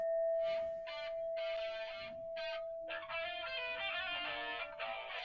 Sóttu þeir Orm með vopnum og grjótkasti.